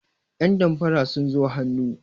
yandamfara sun zo hannu